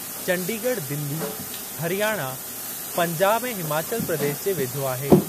चंडीगढ़ दिल्ली, हरियाणा, पंजाब ऐं हिमाचल प्रदेश जे वेझो आहे।